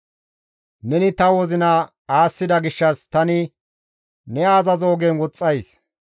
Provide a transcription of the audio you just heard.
Neni ta wozina aassida gishshas tani ne azazo ogen woxxays.